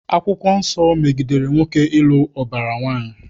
Akwụkwọ Nsọ megidere nwoke ịlụ ụbara nwaanyị